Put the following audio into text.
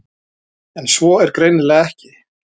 En svo er greinilega ekki.